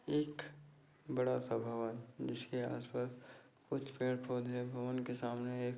एक बड़ा सा भवन जिसके आस पास कुछ पेड़ पौधे भवन के सामने एक --